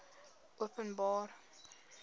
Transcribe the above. openbare